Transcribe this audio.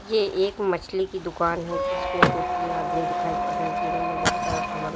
ये एक मछली की दुकान है जिसमें दो तीन आदमी दिखाई पड़े जिन्होंने बहोत सारा सामान--